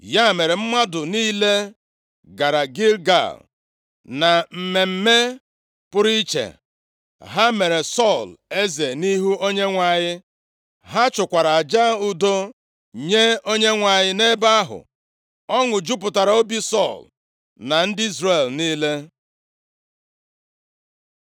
Ya mere, mmadụ niile gara Gilgal. Na mmemme pụrụ iche, ha mere Sọl eze nʼihu Onyenwe anyị. Ha chụkwara aja udo nye Onyenwe anyị nʼebe ahụ. Ọṅụ jupụtakwara nʼobi Sọl na ndị Izrel niile.